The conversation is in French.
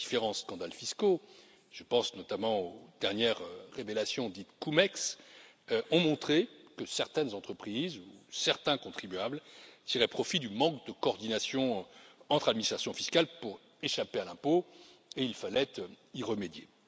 Les différents scandales fiscaux je pense notamment au dernières révélations dites CumEx ont montré que certaines entreprises, ou certains contribuables, tiraient profit du manque de coordination entre les administrations fiscales pour échapper à l'impôt, et il fallait y remédier.